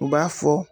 U b'a fɔ